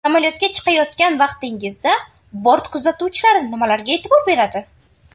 Samolyotga chiqayotgan vaqtingizda bort kuzatuvchilari nimalarga e’tibor beradi?.